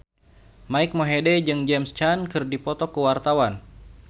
Mike Mohede jeung James Caan keur dipoto ku wartawan